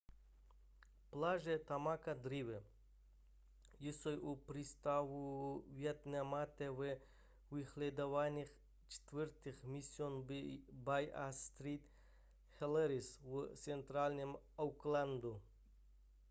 pláže tamaki drive jsou u přístavu waitemata ve vyhledávaných čtvrtích mission bay a st heliers v centrálním aucklandu